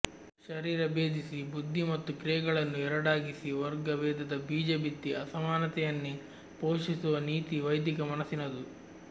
ಶರೀರ ಭೇದಿಸಿ ಬುದ್ಧಿ ಮತ್ತು ಕ್ರಿಯೆಗಳನ್ನು ಎರಡಾಗಿಸಿ ವರ್ಗ ಭೇದದ ಬೀಜ ಬಿತ್ತಿ ಅಸಮಾನತೆಯನ್ನೇ ಪೋಷಿಸುವ ನೀತಿ ವೈದಿಕ ಮನಸಿನದು